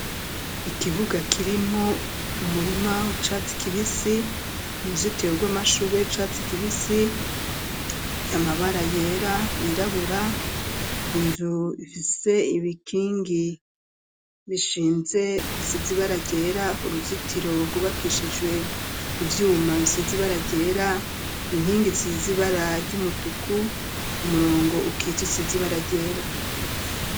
Ikibuga kirimwo umurima w'icatsi kibisi ,uruzitiro rw'amashurwe y'icatsi kibisi, amabara yera yirabura, inzu ifise ibikingi bishinze bisize ibara ryera, uruzitiro rwubakishijwe ivyuma bisizi ibara ryera, inkingi isize ibara ry'umutuku ,umurongo ukitse usize ibara ryera.